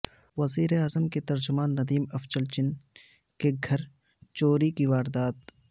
وزیراعظم کے ترجمان ندیم افضل چن کے گھر چوری کی واردات